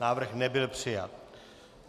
Návrh nebyl přijat.